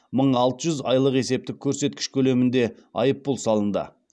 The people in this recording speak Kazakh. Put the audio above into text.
мың алты жүз айлық есептік көрсеткіш көлемінде айыппұл салынды